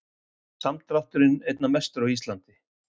Samdrátturinn einna mestur á Íslandi